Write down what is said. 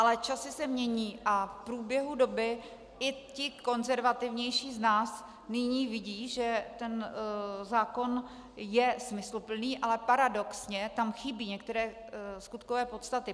Ale časy se mění a v průběhu doby i ti konzervativnější z nás nyní vidí, že ten zákon je smysluplný, ale paradoxně tam chybí některé skutkové podstaty.